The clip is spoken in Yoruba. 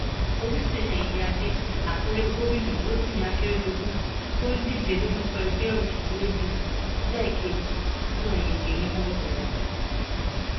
olùsẹyẹ iyíáde àkúrẹ gómìnà rotimi akeredolu tó ń díje lórúkọ ẹgbẹ òsèlú apc lẹẹkejì náà yege ní wọọdù rẹ